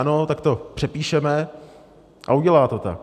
Ano, tak to přepíšeme, a udělá to tak.